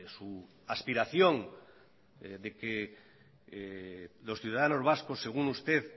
su aspiración de que los ciudadanos vascos según usted